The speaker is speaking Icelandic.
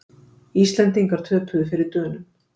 Íslendingar töpuðu fyrir Dönum